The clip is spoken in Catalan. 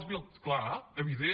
és clar evident